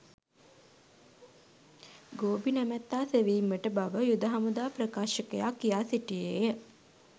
ගෝබි නැමැත්තා සෙවීමට බව යුද හමුදා ප්‍රකාශකයා කියා සිටියේය